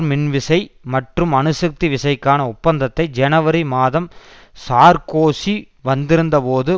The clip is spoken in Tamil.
மின்விசை மற்றும் அணுசக்தி விசைக்கான ஒப்பந்தத்தை ஜனவரி மாதம் சார்க்கோசி வந்திருந்தபோது